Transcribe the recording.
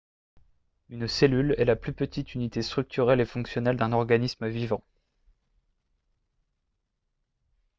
une cellule est la plus petite unité structurelle et fonctionnelle d'un organisme vivant